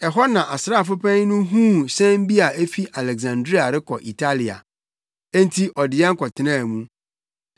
Ɛhɔ na asraafo panyin no huu hyɛn bi a efi Aleksandria rekɔ Italia. Enti ɔde yɛn kɔtenaa mu.